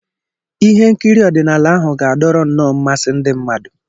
Ihe nkiri ọdịnaala ahụ ga-adọrọ nnọọ mmasị ndị mmadụ